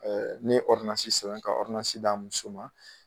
Ne ye ɔrdɔnansi sɛbɛn ka ɔrdɔnansi di a muso ma.